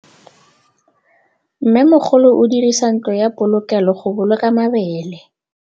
Mmêmogolô o dirisa ntlo ya polokêlô, go boloka mabele.